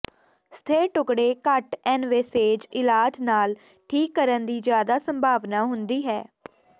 ਸਥਿਰ ਟੁਕੜੇ ਘੱਟ ਇਨਵੈਸੇਵ ਇਲਾਜ ਨਾਲ ਠੀਕ ਕਰਨ ਦੀ ਜ਼ਿਆਦਾ ਸੰਭਾਵਨਾ ਹੁੰਦੀ ਹੈ